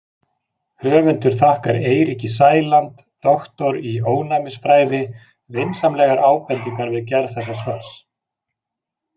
Höfundur þakkar Eiríki Sæland, doktor í ónæmisfræði, vinsamlegar ábendingar við gerð þessa svars.